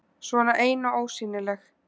Svona ein og ósýnileg.